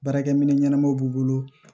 Baarakɛminɛn ɲɛnamaw b'u bolo